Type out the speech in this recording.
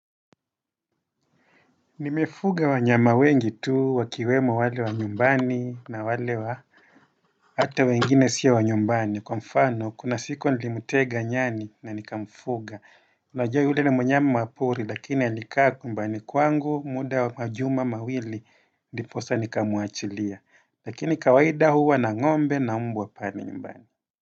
Nimefuga wa nyama wengi tu wakiwemo wale wa nyumbani na wale wa Ata wengine sio wa nyumbani kwa mfano kuna siku nilimtega nyani na nikamfuga unajua yule ni mnyama mapori lakini alikaa kumbani kwangu muda majuma mawili niposa nikamuachilia lakini kawaida huwa na ngombe na mbwa kali nyumbani.